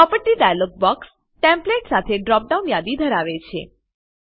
property dialog box templates સાથે drop down યાદી ધરાવે છે